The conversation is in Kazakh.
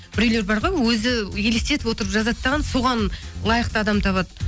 біреулер бар ғой өзі елестетіп отырып жазады дағы соған лайықты адамды табады